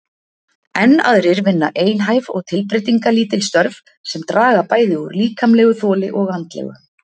Enn aðrir vinna einhæf og tilbreytingarlítil störf sem draga bæði úr líkamlegu þoli og andlegu.